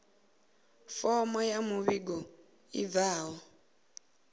fomo ya muvhigo i bvaho